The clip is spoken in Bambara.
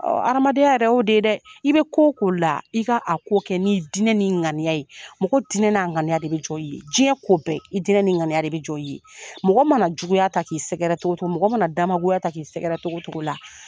Ɔ adamadenya yɛrɛ o de ye dɛ i bɛ ko o ko la i ka a ko kɛ ni dinɛ n'i ŋaniya ye mɔgɔ dinɛ n'a ŋaniya de bɛ jɔ i ye diɲɛ ko bɛɛ i dinɛ n'i ŋaniya de bɛ jɔ i ye mɔgɔ mana juguya ta k'i sɛgɛrɛ cogo cogo mɔgɔ mana damagoya ta k'i sɛgɛrɛ cogo cogo la